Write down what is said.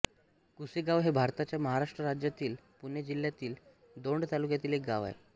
कुसेगाव हे भारताच्या महाराष्ट्र राज्यातील पुणे जिल्ह्यातील दौंड तालुक्यातील एक गाव आहे